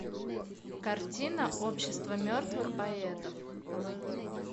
картина общество мертвых поэтов